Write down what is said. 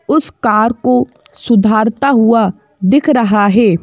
उस कार को सुधारता हुआ दिख रहा है।